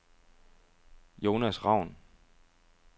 Jonas Raun